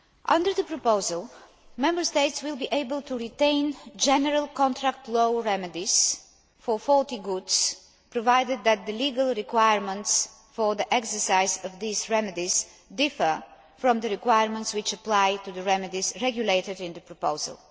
Under the proposal, Member States will be able to retain general contract law remedies for faulty goods, provided that the legal requirements for the exercise of these remedies differ from the requirements which apply to the remedies regulated in the proposal.